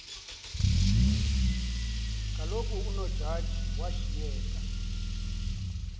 kaloku unojaji washiyeka